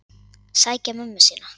Sækja mömmu sína.